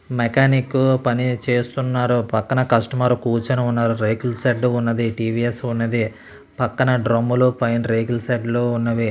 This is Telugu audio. మెకానిక్ పనిచేస్తున్నారు. పక్కన కస్టమర్ కూర్చొని ఉన్నారు. రేకుల షెడ్డు ఉన్నది టీవీఎస్ ఉన్నది. పక్కన క్రమ్ము లు పైన రేకుల షెడ్డు లు ఉన్నవి.